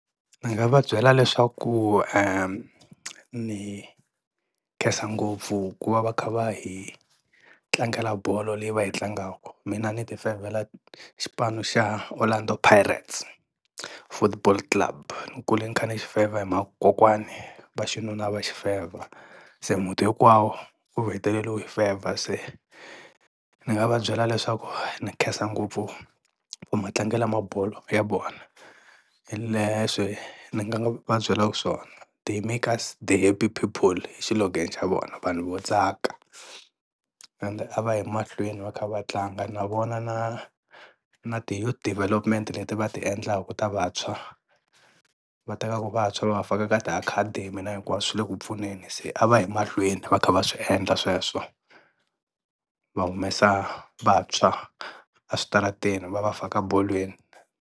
Ndzi nga va byela leswaku ni khensa ngopfu ku va va kha va hi tlangela bolo leyi va yi tlangaka, mina ni ti fevhela xipano xa Orlando Pirates football club, ni kule ni kha ni xi fevha hi mhaka ku kokwani va xinuna a va xi fevha se muti hinkwawo wu hetelele u yi fevha se ni nga va byela leswaku ni khensa ngopfu matlangele mabolo ya vona, hi leswi ndzi nga va byela swona. They make us the happy people hi xilogene xa vona vanhu vo tsaka ende a va yi mahlweni va kha va tlanga na vona na na ti youth development leti va ti endlaka ta vantshwa va tekaka vantshwa va va faka ka ti-academy na hinkwaswo swi le ku pfuneni se a va yi mahlweni va kha va swi endla sweswo va humesa vantshwa a switarateni va va faka bolweni.